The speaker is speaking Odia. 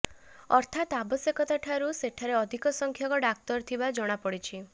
ଅର୍ଥାତ୍ ଆବଶ୍ୟକଠାରୁ ସେଠାରେ ଅଧିକ ସଂଖ୍ୟକ ଡାକ୍ତର ଥିବା ଜଣାପଡ଼ିଛି